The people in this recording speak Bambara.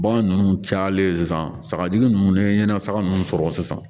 Bagan ninnu cayalen sisan sagajugu ninnu ni ɲɛnasaka ninnu sɔrɔ sisan